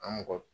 An mɔgɔ